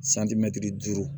duuru